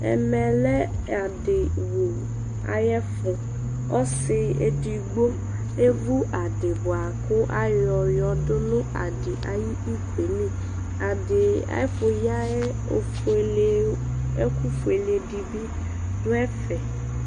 Ɛmɛ lɛ aɖɩvu ayɛ fu Ɔsɩ eɖɩgbo evu aɖɩ bua ku ayɔ yɔ ɖu nu aɖɩ ayu ɩkoe lɩ Aɖɩ ayɛfu ye yɛofoele ɛku foele ɖɩ ɖu ɛfɛ